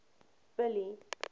billy